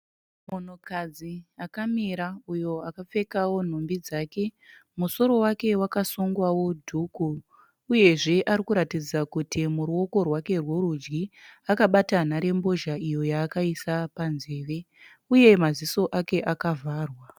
Munhukadzi akamira uyo akapfekawo nhumbi dzake. Musoro wake wakasungwawo dhuku uyezve ari kuratidza kuti muruoko rwake rworudyi akabata nharembozha iyo yaakaisa panzeve, uye maziso ake akavharwa.